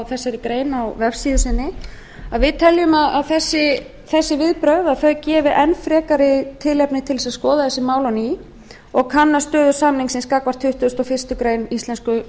þessari grein á vefsíðu sinni við teljum að þessi viðbrögð gefi enn frekari tilefni til að skoða þessi mál á ný og kanna stöðu samningsins gagnvart tuttugasta og fyrstu grein íslensku